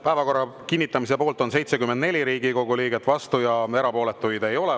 Päevakorra kinnitamise poolt on 74 Riigikogu liiget, vastu ja erapooletuid ei ole.